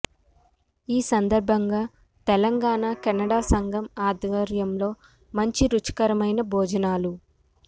ఈ సందర్భంగా తెలంగాణ కెనడా సంఘం ఆద్వర్యంలో మంచి రుచికరమైన భొజనాలు